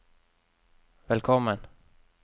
velkommen